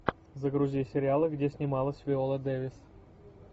загрузи сериалы где снималась виола дэвис